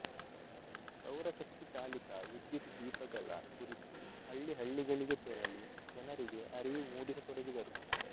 ಸೌರಶಕ್ತಿ ಚಾಲಿತ ವಿದ್ಯುತ್ ದೀಪಗಳ ಕುರಿತು ಹಳ್ಳಿ ಹಳ್ಳಿಗಳಿಗೆ ತೆರಳಿ ಜನರಿಗೆ ಅರಿವು ಮೂಡಿಸತೊಡಗಿದರು